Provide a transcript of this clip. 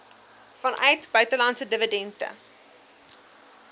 vanuit buitelandse dividende